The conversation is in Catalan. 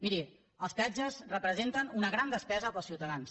miri els peatges representen una gran despesa per als ciutadans